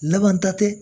Laban ta tɛ